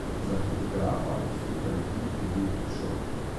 Za fotografa, ki slika ljudi, je bil to šok.